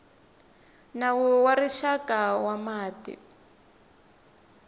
nawu wa rixaka wa mati